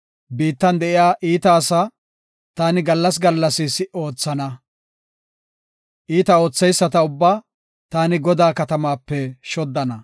Biittan de7iya iita asaa, taani gallas gallas si77i oothana. Iitaa ootheyisata ubbaa taani Godaa katamaape shoddana.